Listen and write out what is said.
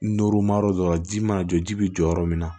ma yɔrɔ dɔ la ji mana jɔ ji bɛ jɔ yɔrɔ min na